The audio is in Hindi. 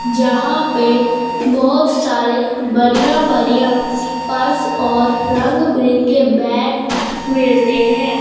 जहाँ पे बहोत सारे बढ़िया बढ़िया पर्स और रंग बिरेंगे बैग मिलते हैं।